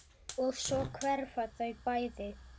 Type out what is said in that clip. Og svo hverfa þau bæði.